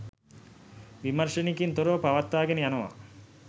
විමර්ෂනයකින් තොරව පවත්වා ගෙන යනවා